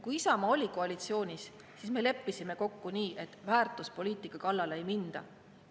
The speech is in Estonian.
Kui Isamaa oli koalitsioonis, siis me leppisime kokku nii, et väärtuspoliitika kallale ei minda.